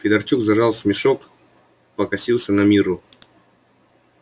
федорчук зажал смешок покосился на мирру